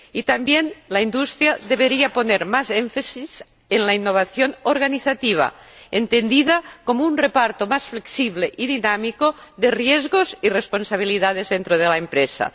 Asimismo, la industria debería poner más énfasis en la innovación organizativa entendida como un reparto más flexible y dinámico de riesgos y responsabilidades dentro de la empresa.